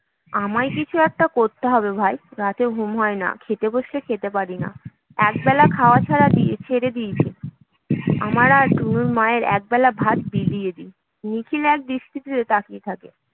আমায় কিছু একটা করতে হবে ভাই। রাতে ঘুম হয় না, খেতে বসলে খেতে পারি না। এক বেলা খাওয়া ছাড়া ছেড়ে দিয়েছি আমার আর টুনুর মা এর একবেলার ভাত বিলিয়ে দি নিখিল এক দৃষ্টিতে তাকিয়ে থাকে